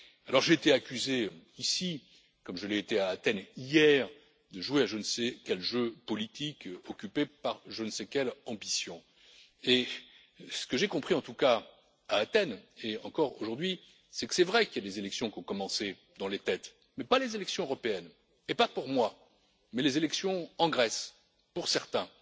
Alors, j'ai été accusé ici, comme je l'ai été à Athènes, hier, de jouer à je ne sais quel jeu politique occupé par je ne sais quelle ambition. Ce que j'ai compris, en tout cas, à Athènes hier, et encore aujourd'hui, c'est qu'il est vrai que des élections ont commencé dans les têtes, mais pas les élections européennes et pas pour moi, mais les élections en Grèce pour certains.